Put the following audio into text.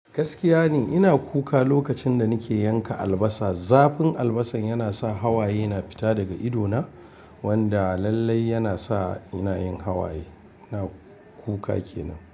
Gaskiya ne ina kuka lokacin da nake yanka albasa. Zafin albasar yana sa hawaye na fita daga idona, wanda lallai yana sa ina yin hawaye. Ina kuka kenan.